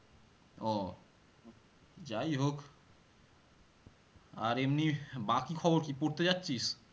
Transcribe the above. ও যাইহোক আর এমনি বাকি খবর কি? পড়তে যাচ্ছিস?